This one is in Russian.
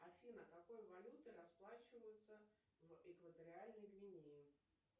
афина какой валютой расплачиваются в экваториальной гвинее